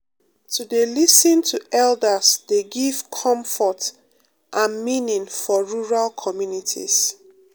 to dey lis ten to elders dey give comfort and meaning for rural communities